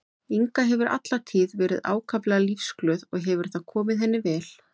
Inga hefur alla tíð verið ákaflega lífsglöð og hefur það komið henni vel.